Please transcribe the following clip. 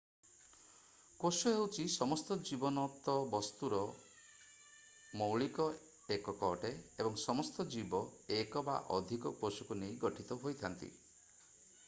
କୋଷ ହେଉଛି ସମସ୍ତ ଜୀବନତ ବସ୍ତୁର ମୌଳିକ ଏକକ ଅଟେ ଏବଂ ସମସ୍ତ ଜୀବ ଏକ ବା ଅଧିକ କୋଷକୁ ନେଇ ଗଠିତ ହୋଇଥାନ୍ତି